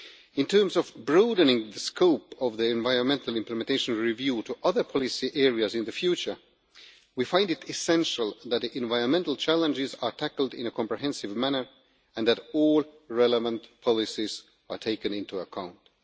In terms of broadening the scope of the environmental implementation review to other policy areas in the future, we find it essential that environmental challenges are tackled in a comprehensive manner and that all relevant policies are taken into account.